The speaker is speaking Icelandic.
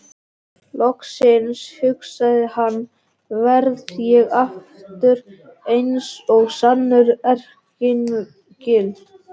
Loksins, hugsaði hann, verð ég aftur eins og sannur erkiengill.